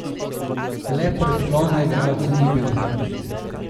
Le predklona igralca ni bilo ...